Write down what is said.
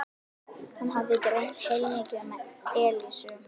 Hann hafði dreymt heilmikið um Elísu.